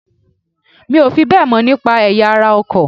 Mi ò fi bẹ́ẹ̀ mọ̀ nípa ẹ̀yà ara ọkọ̀